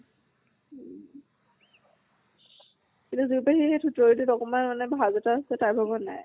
উম এতিয়া যুৰি পেহীৰ সেই থুতুৰীত অকমান মানে ভাজ এটা আছে, তাইৰ ভাগত নাই।